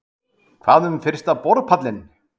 Kristján: Hvað um fyrsta borpallinn?